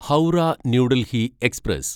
Howrah New Delhi express